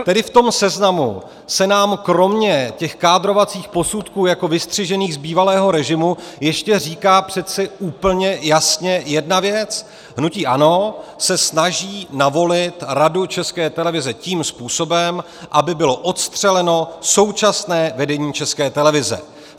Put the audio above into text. Tedy v tom seznamu se nám kromě těch kádrovacích posudků jako vystřižených z bývalého režimu ještě říká přece úplně jasně jedna věc: hnutí ANO se snaží navolit Radu České televize tím způsobem, aby bylo odstřeleno současné vedení České televize.